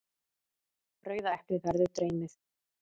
Rauða eplið verður dreymið.